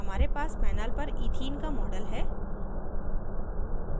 हमारे पास panel पर ethene का model है